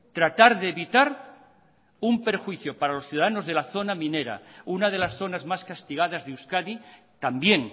tratar de evitar un perjuicio para los ciudadanos de la zona minera una de las zonas más castigadas de euskadi también